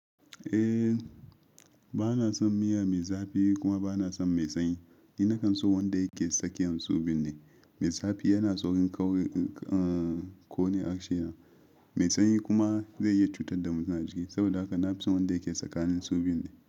Eh, bana son miya mai zafi kuma bana son mai sanyi. Ina son wanda yake tsakiyan su biyun ne. Mai zafi yana sa saurin ƙauri a ƙone a harshena, mai sanyi kuma zai iya cutar da mutum a jiki. Saboda haka na fi son wanda yake tsakanin su biyun ne.